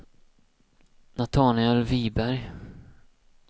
Natanael Wiberg